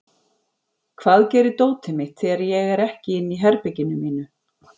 Hvað gerir dótið mitt þegar ég er ekki inn í herberginu mínu?